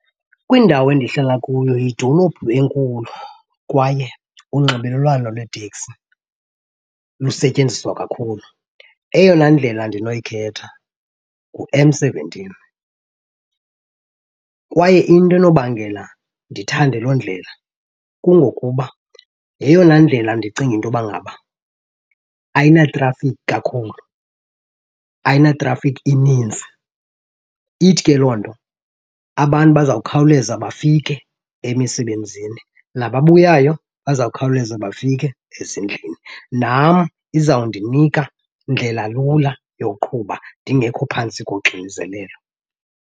Kwindawo endihlala kuyo yidolophu enkulu kwaye unxibelelwano lweeteksi lusetyenziswa kakhulu. Eyona ndlela ndinoyikhetha nguM seventeen kwaye into enobangela ndithande loo ndlela kungokuba yeyona ndlela ndicinga into yoba ngaba ayinatrafikhi kakhulu, ayinatrafikhi inintsi. Ithi ke loo nto abantu bazawukhawuleza bafike emisebenzini, nababuyayo bazawukhawuleza bafike ezindlini. Nam izawundinika ndlela lula yoqhuba ndingekho phantsi koxinzelelo.